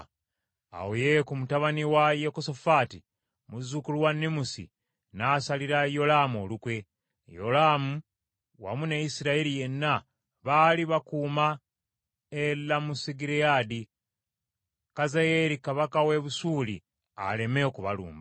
Awo Yeeku mutabani wa Yekosafaati, muzzukulu wa Nimusi n’asalira Yolaamu olukwe. Yolaamu wamu ne Isirayiri yenna baali bakuuma e Lamosugireyaadi, Kazayeeri kabaka w’e Busuuli aleme okubalumba.